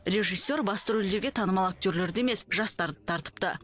режиссер басты рөлдерге танымал актерлерді емес жастарды тартыпты